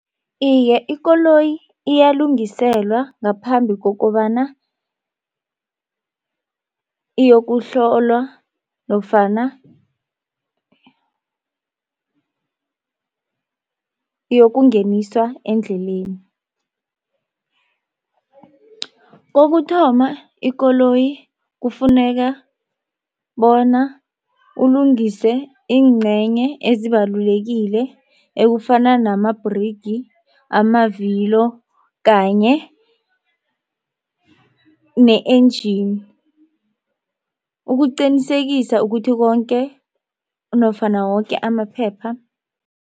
Iye, ikoloyi iyalungiselwa ngaphambi kokobana iyokuhlolwa nofana iyokungeniswa endleleni. Kokuthoma ikoloyi kufuneka bona ulungise iingcenye ezibalulekile ekufana namabhrigi amavilo kanye ne-engine ukuqinisekisa ukuthi konke nofana woke amaphepha